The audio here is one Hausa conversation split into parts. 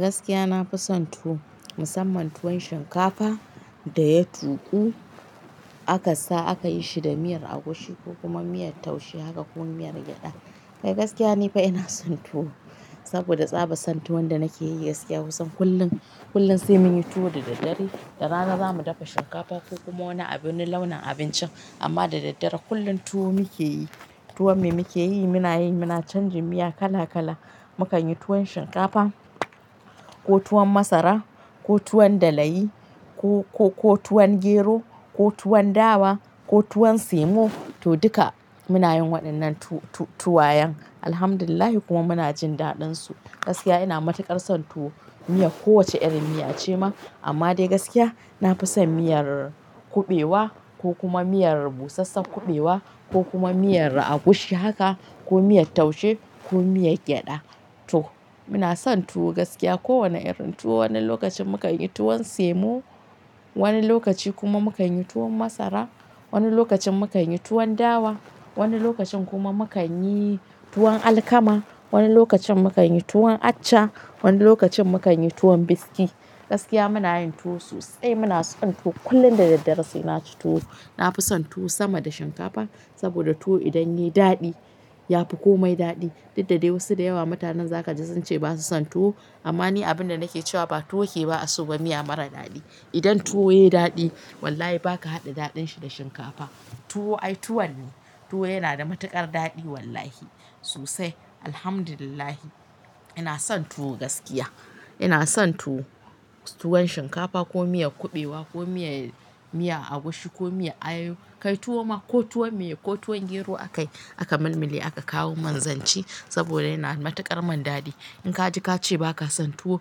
Gaskiya nafi son tuwo musamman tuwon shinkafa da ya tuƙu aka sa akayi shi da miyar agushi ko kuma miyar taushe haka ko miyar gyada. Kai gaskiya ni fa ina son tuwo saboda tsaba son tuwon da nakeyi gaskiya kusan kullum, kullum sai munyi tuwo da daddare da rana zamu dafa shinkafa ko kuma wani abin launin abincin amma da daddare kullum tuwo muke yi. Tuwon me muke yi? Muna yi, muna canji miya kala kala, mukan yi tuwon shinkafa ko tuwon masara ko tuwon da layi ko, ko, ko tuwon gero ko tuwon dawa ko tuwon simo to duka muna yin waɗannan tu-tu-tuwayen. Alhamdulillah kuma muna jin daɗinsu. Gaskiya ina matuƙar son tuwo, miya ko wace irin miya ce ma amma dai gaskiya nafi son miyar kuɓewa ko kuma miyar busassun kuɓewa ko kuma miyar agushi haka ko miyar taushe ko miyar gyada. To muna son tuwo gaskiya ko wane irin tuwo. Wani lokacin mukan yi tuwon simo, wani lokaci kuma mukan yi tuwon masara, wani lokacin mukan yi tuwon dawa, wani lokacin kuma mukan yi tuwon alkama, wani lokacin mukan yi tuwon accha, wani lokacin mukan yi tuwon biskit. Gaskiya muna yin tuwo sosai muna son tuwo kullum da daddare sai naci tuwo. Nafi son tuwo sama da shinkafa saboda tuwo idan yayi daɗi yafi komai daɗi. Duk da dai wasu da yawa mutanen za ka ji sunce basu son tuwo amma ni abin da nake cewa ba tuwo ke ba asuba miya mara daɗi. Idan tuwo yayi daɗi wallahi ba ka haɗa daɗin shi da shinkafa. Tuwo ai tuwo ne, tuwo yana da matuƙar daɗi wallahi sosai. Alhamdulillah ina son tuwo gaskiya. Ina son tuwo, tuwon shinkafa ko miyar kuɓewa ko miya, miya agushi ko miya ayayo kai tuwo ma ko tuwon miya ko tuwon gero aka yi aka malmale aka kawo min zanci saboda yana da matuƙar man daɗi. In ka ji ka ce baka son tuwo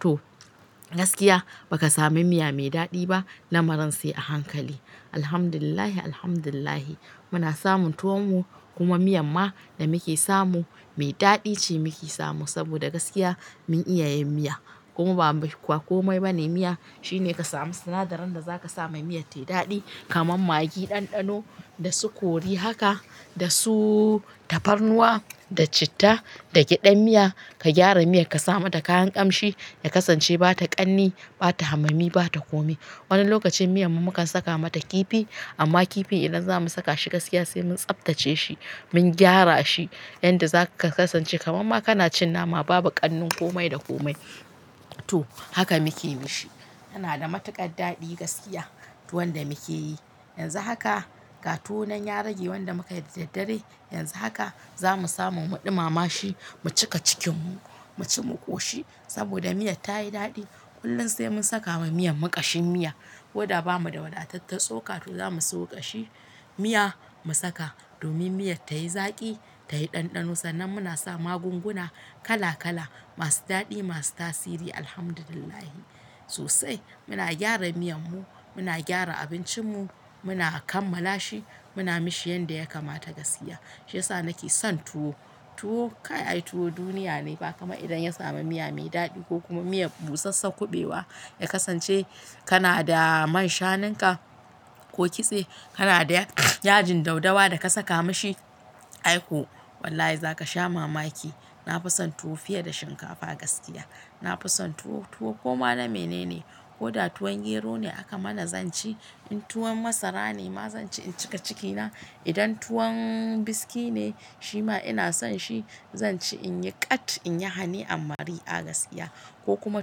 to gaskiya baka sami miya mai daɗi ba lamarin sai a hankali. Alhamdulillah, alhamdulillah muna samun tuwon mu kuma miyan ma da muke samu mai daɗi ce muke samu saboda gaskiya mun iya yin miya kuma ba kwa komai bane miya shine ka samu sinadaran da zaka sama miya tayi daɗi kamar magi, ɗanɗano da su kori haka, da su tafarnuwa, da citta, da gyadan miya ka gyara miyan ka sa mata kayan ƙamshi ya kasance ba ta ƙanni, ba ta hamami, ba ta kome. Wani lokacin miyan mu mukan saka mata kifi amma kifin idan za mu saka shi gaskiya sai mun tsaftace shi, mun gyara shi yanda zaka kasance kamar ma kana cin nama babu ƙannin kome da kome. To haka muke yi shi. Yana da matuƙar daɗi gaskiya tuwon da muke yi. Yanzu haka ga tuwonan ya rage wanda muka yi da daddare, yanzu haka za mu samu mu ɗumama shi, mu cika cikin mu, mu ci mu ƙoshi saboda miyar ta yi daɗi. Kullum sai mun saka wa miyan mu ƙashin miya. Ko da ba mu da wadataccen tsoka to za mu samu ƙashi miya mu saka domin miyar tayi zaƙi, tayi ɗanɗano sannan muna sa magunguna kala kala masu daɗi, masu tasiri Alhamdulillah. Sosai muna gyara miyan mu, muna gyara abincin mu, muna kammala shi, muna mishi yanda ya kamata gaskiya. Shiyasa nake son tuwo. Tuwo kai ai tuwo duniya ne ba kama idan ya samu miya mai daɗi ko kuma miya busassun kuɓewa ya kasance kana da man shanun ka ko kitse, kana da yajin dau dawa da ka saka mishi. Ai ko wallahi za ka sha mamaki. Na fi son tuwo fiye da shinkafa gaskiya. Na fi son tuwo, tuwo koma na mene ne. Ko da tuwon gero ne aka mana zanci, in tuwon masara ne ma zanci in cika ciki na, idan tuwon biskit ne shi ma ina son shi zanci in yi ƙat in yi hani amari a gaskiya. Ko kuma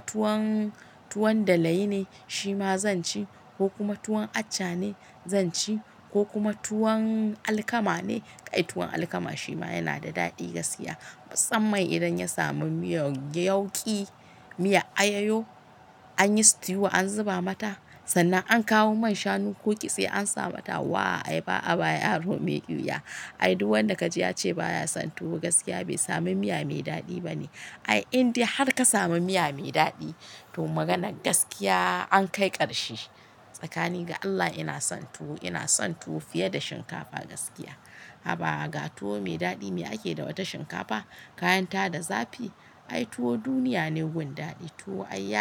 tuwon, tuwon da layi ne shi ma zanci ko kuma tuwon accha ne zanci ko kuma tuwon alkama ne. Kai tuwon alkama shi ma yana da daɗi gaskiya musamman idan ya samu miyar yauƙi, miya ayayo anyi stew an zuba mata sannan an kawo man shanu ko kitse an sa mata. Waa ai ba a ba yaro mai ƙyuya. Ai duk wanda ka ji ya ce ba ya son tuwo gaskiya bai sami miya mai daɗi ba ne. Ai indai har ka samu miya mai daɗi to maganar gaskiya an kai ƙarshe. Tsakani ga Allah ina son tuwo, ina son tuwo fiye da shinkafa gaskiya. Haba ga tuwo mai daɗi me ake da wata shinkafa? Kayan ta da zafi. Ai tuwo duniya ne wajen daɗi. Tuwo ai ya.